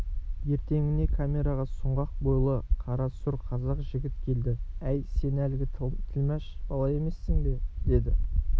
ертеңіне камераға сұңғақ бойлы қара-сұр қазақ жігіт келді әй сен әлгі тілмаш бала емессің бе деді